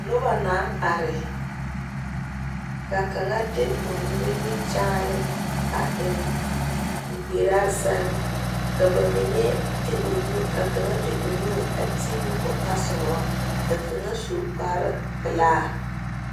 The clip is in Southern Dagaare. Noba naŋ are ka kaŋa de o nimikyaane a eŋ o gbiraa seŋ ka kaŋa. de o nu a ti ne o tasoba ka kaŋa su kparre pɛlaa